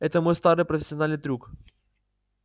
это мой старый профессиональный трюк